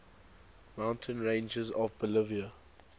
mountain ranges of bolivia